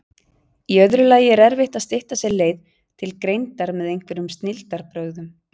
Í öðru lagi er erfitt að stytta sér leið til greindar með einhverjum snilldarbrögðum.